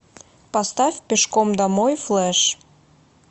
поставь пешком домой флэш